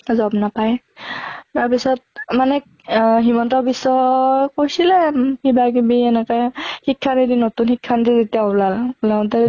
job নাপায়। তাৰ পিছত মানে অহ হিমন্ত বিশ্ব কৈছিলে কিবা কিবি এনেকে শিক্ষা নতুন শিক্ষা নীতি যেতিয়া ওলাল, ওলাওতে